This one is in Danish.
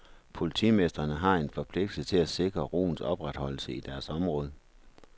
Politimestrene har en forpligtelse til at sikre roens opretholdelse i deres område.